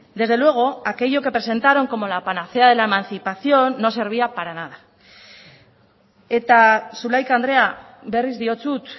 desde luego aquello que presentaron como la panacea de la emancipación no servía para nada eta zulaika andrea berriz diotsut